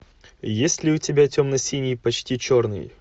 есть ли у тебя темно синий почти черный